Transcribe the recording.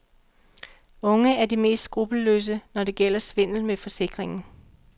Unge er de mest skrupelløse, når det gælder svindel med forsikringen.